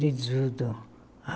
De tudo.